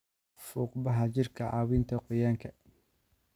Fuuqbaxa jirka, caawinta qoyaanka.